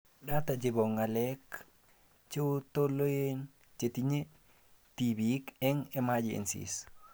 Data chebo ng'alek cheotoleen chetinye tibiik eng emergencies